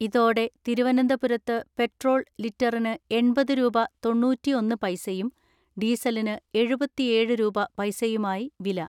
ഇതോടെ തിരുവനന്തപുരത്ത് പെട്രോൾ ലിറ്ററിന് എൺപത് രൂപ തൊണ്ണൂറ്റിഒന്ന്‌ പൈസയും ഡീസലിന് എഴുപതിഏഴ് രൂപ പൈസയുമായി വില.